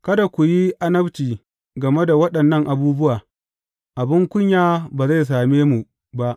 Kada ku yi annabci game da waɗannan abubuwa; abin kunya ba zai same mu ba.